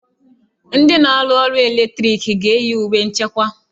Ndị na-arụ ọrụ ọkụ eletriki ga-eyi uwe nchekwa.